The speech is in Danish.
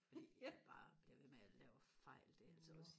fordi jeg bare bliver ved med og lave fejl det er altså også